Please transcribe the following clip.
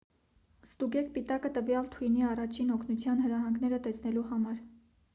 ստուգեք պիտակը տվյալ թույնի առաջին օգնության հրահանգները տեսնելու համար